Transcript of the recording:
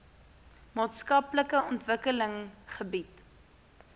maatskaplike ontwikkeling bied